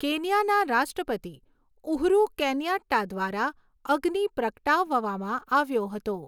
કેન્યાના રાષ્ટ્રપતિ Uhuru Kenyatta દ્વારા અગ્નિ પ્રગટાવવામાં આવ્યો હતો.